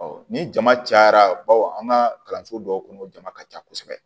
ni jama cayara bawo an ka kalanso dɔw kɔnɔ o jama ka ca kosɛbɛ